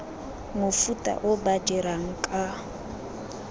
mofuta o ba dirang ka